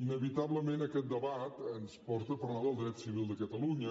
inevitablement aquest debat ens porta a parlar del dret civil de catalunya